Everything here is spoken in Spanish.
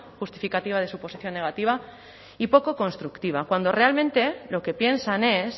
justificativa de su posición negativa y poco constructiva cuando realmente lo que piensan es